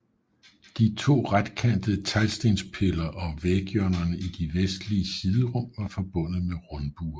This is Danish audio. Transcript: De to retkantede teglstenspiller og væghjørnerne i de vestlige siderum var forbundet med rundbuer